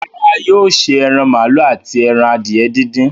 Rárá, yóò ṣe ẹran màálù àti ẹran adìye díndín.